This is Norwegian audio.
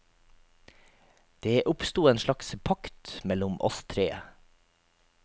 Det oppsto en slags pakt mellom oss tre.